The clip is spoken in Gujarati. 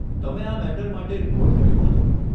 તમે આ મેટર માટે રિપોર્ટ કર્યું હતું?